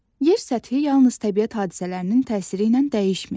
Yer səthi yalnız təbiət hadisələrinin təsiri ilə dəyişmir.